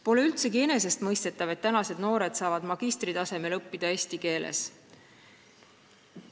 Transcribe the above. Pole üldsegi enesestmõistetav, et meie noored saavad magistritasemel õppida eesti keeles.